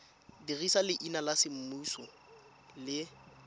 dirisa leina la semmuso le